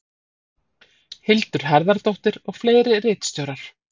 hildur harðardóttir og fleiri ritstjórar